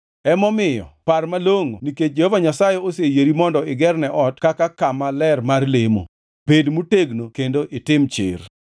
Emomiyo par malongʼo nikech Jehova Nyasaye oseyieri mondo igerne ot kaka kama ler mar lemo. Bed motegno kendo itim tich.”